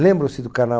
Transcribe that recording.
Lembram-se do canal?